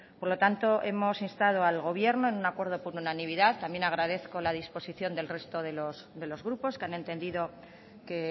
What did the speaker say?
por lo tanto hemos instado al gobierno en un acuerdo por unanimidad también agradezco la disposición del resto de los grupos que han entendido que